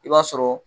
I b'a sɔrɔ